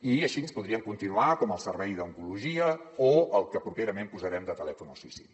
i així podríem continuar com el servei d’oncologia o el que properament posarem de telèfon al suïcidi